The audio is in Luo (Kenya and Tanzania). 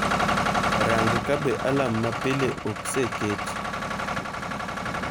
Rang' ka be alarm ma pile oseket